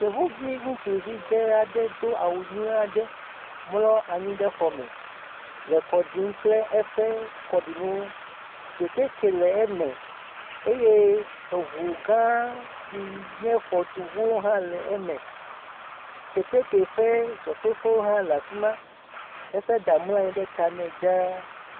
Yevuvi ŋutsuvi dzẽ aɖe do awu nyuie aɖe mlɔ anyi ɖe xɔa me le kɔ ɖim kple eƒe kɔɖinuwo. Kɛtɛkɛ le eme eye eŋu gãã si nye xɔtuŋuwo hã le eme. Kɛtɛkɛ ƒe zɔtoƒe hã le afi ma. Eƒe ɖa mlɔ anyi ɖe ta nɛ dzaa.